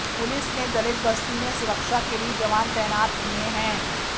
police ने दलित बस्ती में सुरक्षा के लिए जवान तैनात किए हैं